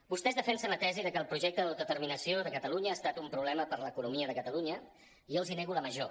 vostès defensen la tesi de que el projecte d’autodeterminació de catalunya ha es·tat un problema per a l’economia de catalunya i jo els nego la major